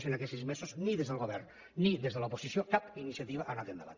i en aquests sis mesos ni des del govern ni des de l’oposició cap iniciativa ha anat endavant